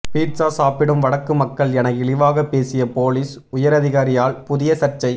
pizza சாப்பிடும் வடக்கு மக்கள் என இழிவாக பேசிய பொலிஸ் உயரதிகாரியால் புதிய சர்ச்சை